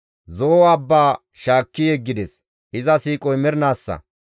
Zo7o abba shaakki yeggides; iza siiqoy mernaassa.